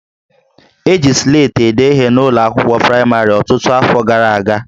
E ji Sleti ede ihe n'ụlọ akwụkwọ praịmarị ọtụtụ afọ gara aga